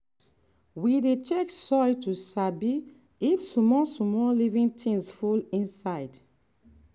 we dey check soil to sabi if small-small living things full inside.